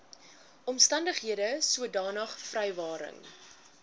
omstandighede sodanige vrywaring